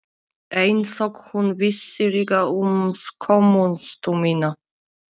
Einsog hún vissi líka um skömmustu mína.